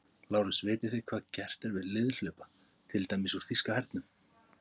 LÁRUS: Vitið þið hvað gert er við liðhlaupa, til dæmis úr þýska hernum?